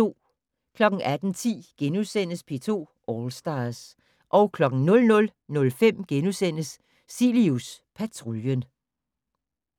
18:10: P2 All Stars * 00:05: Cilius Patruljen *